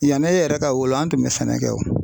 Yan'e yɛrɛ ka wolo an tun bɛ sɛnɛ kɛ wo.